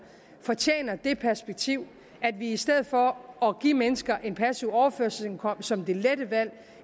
fortjener det perspektiv at vi i stedet for at give mennesker en passiv overførselsindkomst som det lette valg